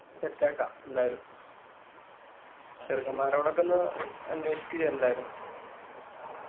set ആക്ക എന്തായാലും. ചെറുക്കന്മാരോടൊക്കെ ഒന്ന് അന്വേഷിക്ക് ഇജ്ജ് എന്തായാലും.